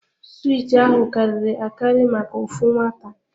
Suwiti ahụ karịrị akari maka ofu nwata.